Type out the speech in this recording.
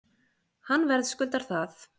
Hann verðskuldar það